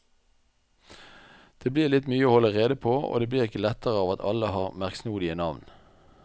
Det blir litt mye å holde rede på og det blir ikke lettere av at alle har merksnodige navn.